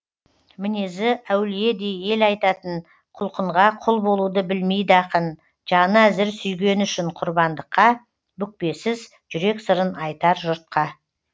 мінезі әулиедей ел айтатын құлқынға құл болуды білмейді ақын жаны әзір сүйгені үшін құрбандыққа бүкпесіз жүрек сырын айтар жұртқа